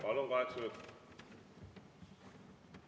Palun, kaheksa minutit!